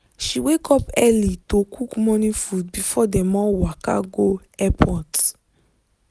she wake up early to cook morning food before dem all waka go airport.